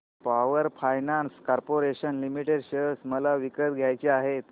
power Finance Corporation Limited share मला विकत घ्यायचे आहेत